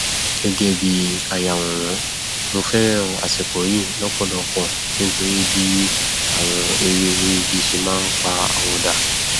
gẹgẹ bí ayàwòrán mo fẹràn àsìkò yìí lọpọlọpọ nítorí bí àwọn ewé orí igi ṣe máa npa àwọ dà